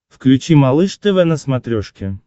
включи малыш тв на смотрешке